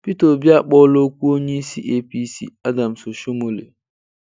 Peter Obi akpọọla okwu onye isi APC Adams Oshiomole